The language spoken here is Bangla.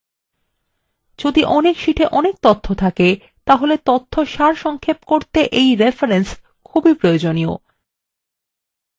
যদি অনেক শীটে অনেক তথ্য থাকে তাহলে তথ্য সারসংক্ষেপ করতে রেফরেন্স খুব প্রয়োজনীয়